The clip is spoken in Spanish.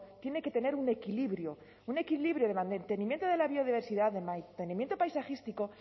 tiene que tener un equilibrio un equilibrio de mantenimiento de la biodiversidad de mantenimiento paisajístico